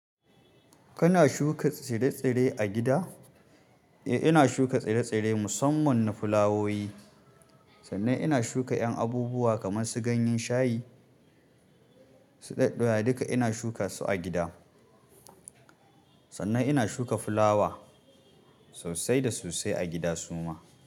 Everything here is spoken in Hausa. Kana shuka tsire-tsire a gida? Eh, ina shuka tsire-tsire musamman na fulawowi sannan ina shuka ƴan abubuwa kamar su ganyen shayi, su duka ina shuka su a gida. Sannan ina shuka fulawa sosai da sosai a gida suma.